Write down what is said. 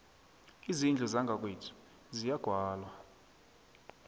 izindlu zangakwethu ziyagwalwa